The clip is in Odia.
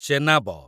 ଚେନାବ